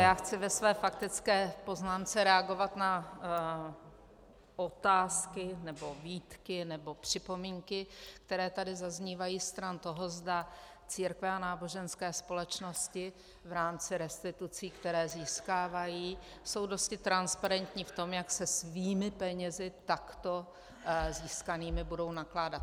Já chci ve své faktické poznámce reagovat na otázky nebo výtky nebo připomínky, které tady zaznívají stran toho, zda církve a náboženské společnosti v rámci restitucí, které získávají, jsou dosti transparentní v tom, jak se svými penězi takto získanými budou nakládat.